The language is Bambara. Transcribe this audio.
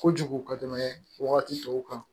Kojugu ka tɛmɛ wagati tɔw kan